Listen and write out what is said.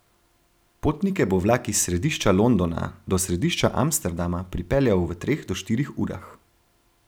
Potnike bo vlak iz središča Londona do središča Amsterdama pripeljal v treh do štirih urah.